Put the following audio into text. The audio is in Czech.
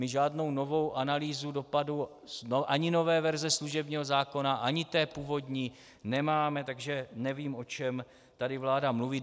My žádnou novou analýzu dopadů ani nové verze služebního zákona ani té původní nemáme, takže nevím, o čem vláda tady mluví.